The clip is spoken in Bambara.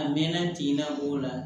A mɛnna tin na o la